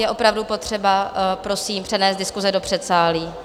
Je opravdu potřeba prosím přenést diskuse do předsálí.